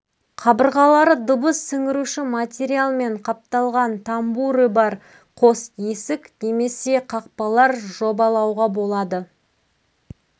қабырғалары дыбыс сіңіруші материалмен қапталған тамбуры бар қос есік немесе қақпалар жобалауға болады